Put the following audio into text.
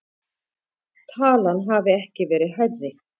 Talan hafi ekki verið hærri